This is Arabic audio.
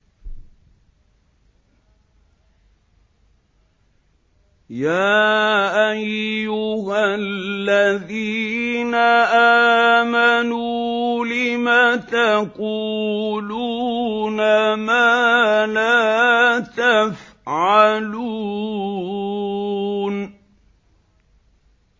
يَا أَيُّهَا الَّذِينَ آمَنُوا لِمَ تَقُولُونَ مَا لَا تَفْعَلُونَ